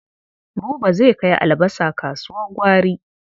Buba zai kai albasa kasuwar gwari.